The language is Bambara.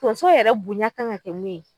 tonso yɛrɛ bonya kan ka kɛ mun ye